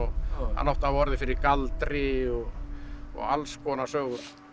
hann átti að hafa orðið fyrir galdri og og alls konar sögur